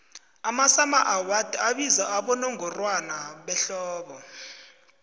amasummer awards abizwa abowongorwana behlobo